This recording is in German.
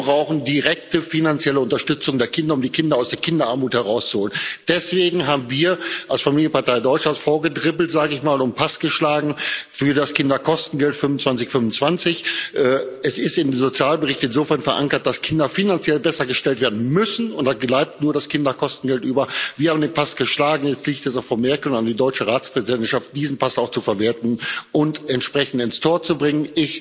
Wir brauchen direkte finanzielle Unterstützung der Kinder, um die Kinder aus der Kinderarmut herauszuholen. Deswegen sind wir als Familienpartei Deutschlands vorgedribbelt und haben Pass geschlagen für das Kinderkostengeld 2525. Es ist im Sozialbericht insofern verankert, dass Kinder finanziell bessergestellt werden müssen, und da bleibt nur das Kinderkostengeld über. Wir haben den Pass geschlagen, jetzt liegt es an Frau Merkel und der deutschen Ratspräsidentschaft, diesen Pass auch zu verwerten und entsprechend ins Tor zu bringen.